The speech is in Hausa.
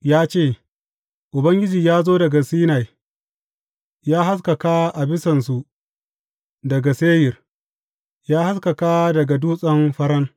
Ya ce, Ubangiji ya zo daga Sinai ya haskaka a bisansu daga Seyir; ya haskaka daga Dutsen Faran.